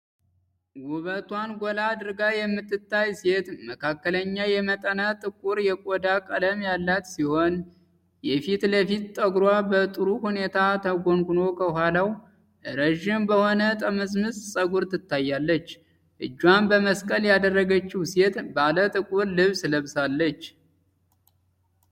ውበቷን ጎላ አድርጋ የምትታይ ሴት መካከለኛ የመጠነ ጥቁር የቆዳ ቀለም ያላት ሲሆን፣ የፊት ለፊቱ ጠጉሯ በጥሩ ሁኔታ ተጎንጉኖ ከኋላው ረጅም በሆነ ጥምዝምዝ ፀጉር ትታያለች። እጇን በመስቀል ያደረገችው ሴት ባለ ጥቁር ልብስ ለብሳለች።